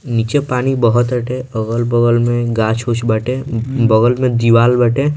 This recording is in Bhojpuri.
नीचे पानी बहोत अटे अगल-बगल में गाछ-उछ बाटे बगल में दीवाल बाटे।